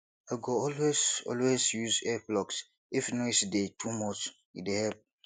i go always always use earplugs if noise dey too much e dey help